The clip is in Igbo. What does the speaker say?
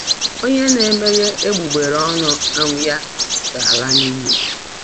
“Onye na-emeghe egbugbere ọnụ um ya ga-ala n'iyi."